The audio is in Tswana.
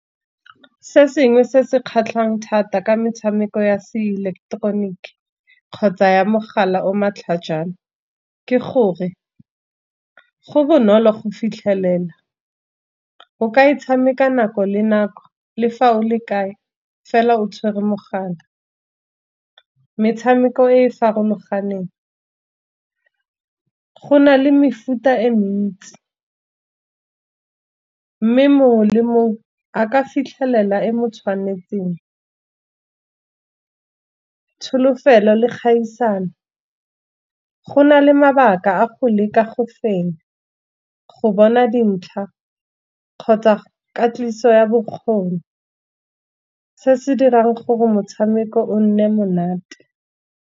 Se sengwe se se kgatlhang thata ka metshameko ya se ileketeroniki, kgotsa ya mogala o matlhajana. Ke gore go bonolo go fitlhelela o ka e tshameka nako le nako le fao le kae fela o tshwere mogala. Metshameko e e farologaneng go na le mefuta e ntsi, mme mongwe le mongwe a ka fitlhelela e mo tshwanetseng. Tsholofelo le kgaisano gona le mabaka a go leka go fenya, go bona dintlha kgotsa katiso ya bokgoni, se se dirang gore motshameko o nne monate.